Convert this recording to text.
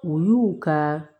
U y'u ka